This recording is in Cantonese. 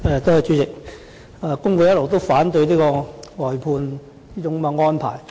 主席，工會一直反對這種外判安排。